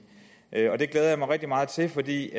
det glæder jeg mig rigtig meget til for det